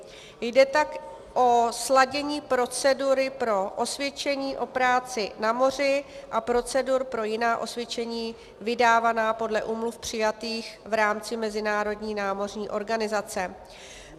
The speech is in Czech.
Jde tak o sladění procedury pro osvědčení o práci na moři a procedur pro jiná osvědčení vydávaná podle úmluv přijatých v rámci Mezinárodní námořní organizace.